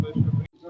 Padayot.